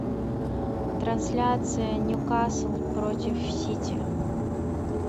трансляция ньюкасл против сити